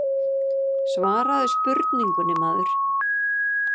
Svaraðu spurningunni maður.